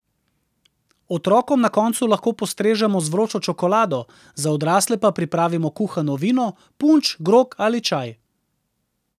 Otrokom na koncu lahko postrežemo z vročo čokolado, za odrasle pa pripravimo kuhano vino, punč, grog ali čaj.